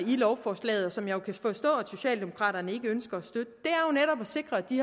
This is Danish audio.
i lovforslaget som jeg jo kan forstå at socialdemokraterne ikke ønsker at sikre at de